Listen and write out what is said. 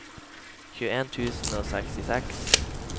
tjueen tusen og sekstiseks